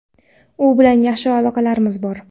u bilan yaxshi aloqalarimiz bor.